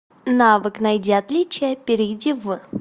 навык найди отличия перейди в